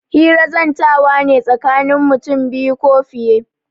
Hira zantawa ne tsakanin mutum biyu ko fiye.